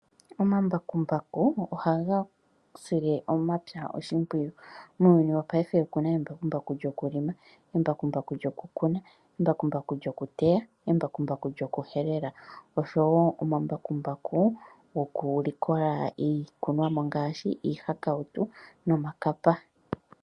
Omambakumbaku ohaga sile omapya oshimpwiyu. Muuyuni wopaife oku na embakumbaku lyokukuna, embakumbaku lyokuteya, embakumbaku lyokuhelela oshowo omambakumbaku gokulikola iilikolomwa ngaashi iihakautu niikapa.